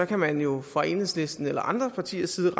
kan man jo fra enhedslisten eller andre partiers side